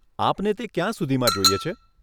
આપને તે ક્યાં સુધીમાં જોઈએ છે?